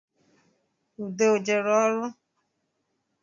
Ude o jere ọrụ?